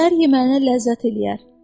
Səhər yeməyinə ləzzət eləyər.